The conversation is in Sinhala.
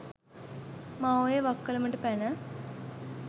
මාඔයේ වක්කලමට පැන